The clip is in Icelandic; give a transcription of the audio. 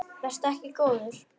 Vertu ekki góður.